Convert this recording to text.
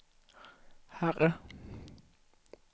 herre